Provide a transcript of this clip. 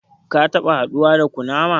Kun taɓa haduwa da kunama?